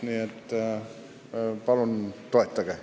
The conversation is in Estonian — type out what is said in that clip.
Nii et palun toetage.